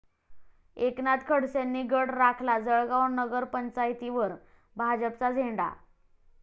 एकनाथ खडसेंनी गड राखला, जळगाव नगरपंचायतीवर भाजपचा झेंडा